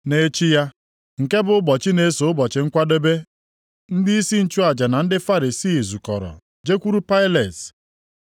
Nʼechi ya, nke bụ ụbọchị na-eso ụbọchị Nkwadebe, ndịisi nchụaja na ndị Farisii zukọrọ jekwuru Pailet.